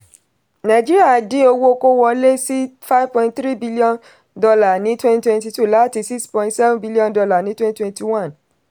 nàìjíríà dín owó kówọlé sí five point three billion dollar ní twenty twenty two láti six point seven billion dollar ní twenty twenty one.